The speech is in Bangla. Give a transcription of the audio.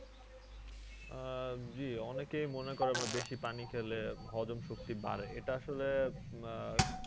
আহ জ্বি অনেকেই মনে করে বেশি পানি খেলে হজম শক্তি বাড়ে এটা আসলে আহ